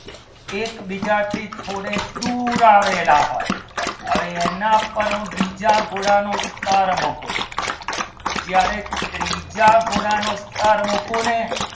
એકબીજાથી થોડેક દૂર આવેલા હોય હવે એના પર બીજા ઘોડાનો સ્થર મુકો ને